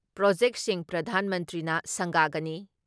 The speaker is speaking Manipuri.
ꯄ꯭ꯔꯣꯖꯦꯛꯁꯤꯡ ꯄ꯭ꯔꯙꯥꯟ ꯃꯟꯇ꯭ꯔꯤꯅ ꯁꯪꯒꯥꯒꯅꯤ ꯫